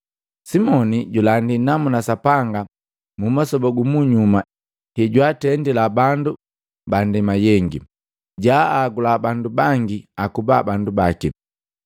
Simoni julandi namuna Sapanga mumasoba gumunyuma hejwaatendila bandu bandema yengi, jaagula bandu bangi akuba bandu baki.